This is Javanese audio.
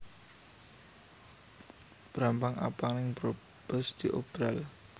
Brambang abang ning Brebes diobral